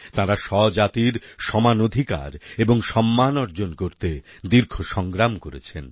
তাঁরা স্বজাতির সমান অধিকার এবং সম্মান অর্জন করতে দীর্ঘ সংগ্রাম করেছেন